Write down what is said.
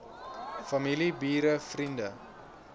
familie bure vriende